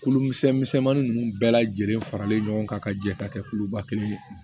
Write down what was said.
Kulu misɛn misɛnmanin ninnu bɛɛ lajɛlen faralen ɲɔgɔn kan ka jɛ ka kɛ kuluba kelen ye